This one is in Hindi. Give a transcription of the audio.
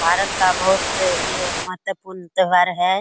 भारत का बहुत ये महत्वपूर्ण त्यौहार है।